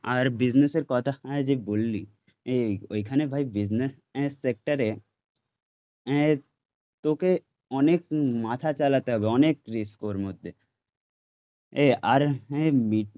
আর বিজনেসের কথা যে বললি ওইখানে ভাই বিজনেস সেক্টরে তোকে অনেক মাথা চালাতে হবে অনেক রিস্ক ওর মধ্যে আর